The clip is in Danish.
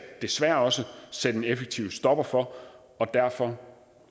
desværre også sætte en effektiv stopper for derfor